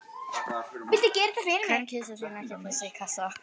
Kann kisa þín ekki að pissa í kassa?